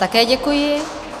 Také děkuji.